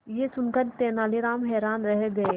यह सुनकर तेनालीराम हैरान रह गए